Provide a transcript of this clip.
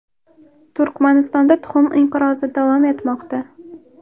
Turkmanistonda tuxum inqirozi davom etmoqda.